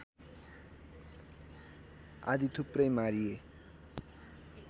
आदि थुप्रै मारिए